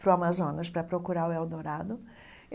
para o Amazonas para procurar o Eldorado.